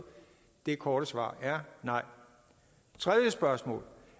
det korte svar er nej tredje spørgsmål